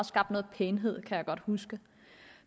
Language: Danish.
skabt noget pænhed kan jeg godt huske